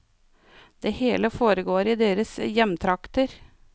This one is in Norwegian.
Det hele foregår i deres hjemtrakter.